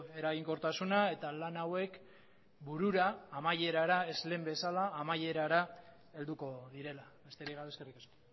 eraginkortasuna eta lan hauek burura amaierara ez lehen bezala amaierara helduko direla besterik gabe eskerrik asko